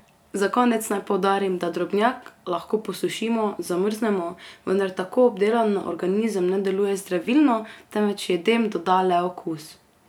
Za konec naj poudarim, da drobnjak lahko posušimo, zamrznemo, vendar tako obdelan na organizem ne deluje zdravilno, temveč jedem doda le okus.